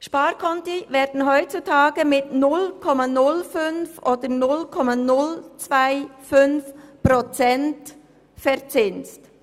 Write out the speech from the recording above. Sparkonti werden heutzutage mit 0,05 oder 0,025 Prozent verzinst.